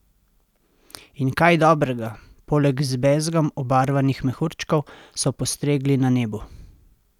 In kaj dobrega, poleg z bezgom obarvanih mehurčkov, so postregli na nebu?